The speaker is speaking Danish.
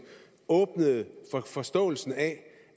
åbnede for forståelsen af